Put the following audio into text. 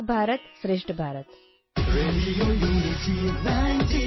ಏಕ ಭಾರತಂ ಶ್ರೇಷ್ಠ ಭಾರತಂ